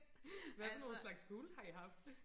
hvad for nogle slags fugle har i haft